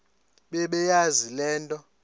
bebeyazi le nto